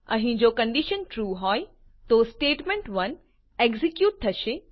અહીં જો condition true હોય તો સ્ટેટમેન્ટ1 એક્ઝેક્યુટ થશે